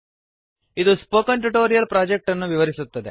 ಇದು spoken tutorial project ಅನ್ನು ವಿವರಿಸುತ್ತದೆ